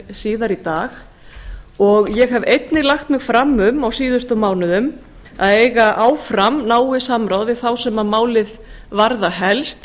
síðar í dag og ég hef einnig lagt mig fram um á síðustu mánuðum að eiga áfram náið samráð við þá sem að málið varða helst